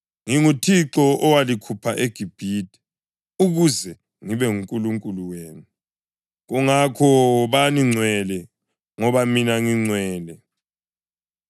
NginguThixo owalikhupha eGibhithe ukuze ngibe nguNkulunkulu wenu; kungakho wobani ngcwele, ngoba mina ngingcwele.